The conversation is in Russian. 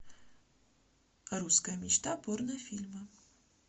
русская мечта порнофильмы